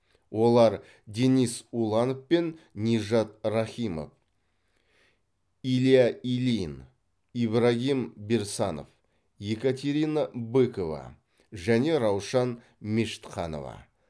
олар денис уланов пен нижат рахимов илья ильин ибрагим берсанов екатерина быкова және раушан мешітханова